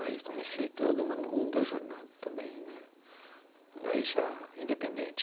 Aí comecei toda uma longa jornada também, mas já independente.